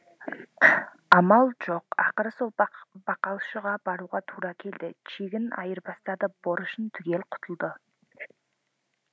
амал жоқ ақыры сол бақалшыға баруға тура келді чегін айырбастатып борышынан түгел құтылды